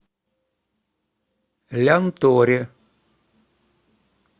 лянторе